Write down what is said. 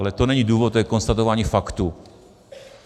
Ale to není důvod, to je konstatování faktu.